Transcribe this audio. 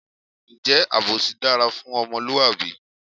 Ǹjẹ́ àbòsí dára fún ọmọlúwàbí?